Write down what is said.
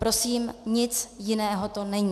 Prosím, nic jiného to není.